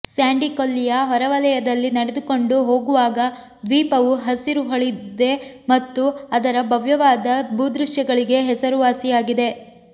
Sandy ಕೊಲ್ಲಿಯ ಹೊರವಲಯದಲ್ಲಿ ನಡೆದುಕೊಂಡು ಹೋಗುವಾಗ ದ್ವೀಪವು ಹಸಿರು ಹೂಳಿದೆ ಮತ್ತು ಅದರ ಭವ್ಯವಾದ ಭೂದೃಶ್ಯಗಳಿಗೆ ಹೆಸರುವಾಸಿಯಾಗಿದೆ